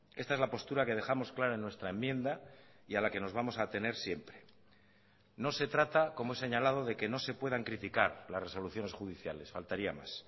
esta es la postura que dejamos clara en nuestra enmienda y a la que nos vamos a atener siempre no se trata como he señalado de que no se puedan criticar las resoluciones judiciales faltaría más